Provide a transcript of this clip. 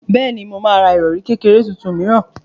Bẹ́ẹ̀ni, mo máa ra ìrọ̀rì kékeré tuntun mìíràn